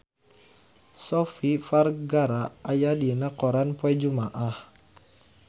Sofia Vergara aya dina koran poe Jumaah